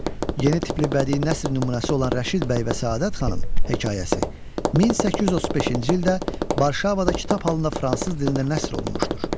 Yeni tipli bədii nəsr nümunəsi olan Rəşid bəy və Səadət xanım hekayəsi 1835-ci ildə Varşavada kitab halında fransız dilində nəşr olunmuşdur.